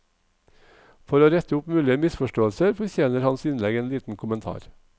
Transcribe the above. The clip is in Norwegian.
For å rette opp mulige misforståelser fortjener hans innlegg en liten kommentar.